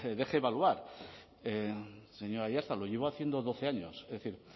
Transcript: deje evaluar señor aiartza lo llevo haciendo doce años es decir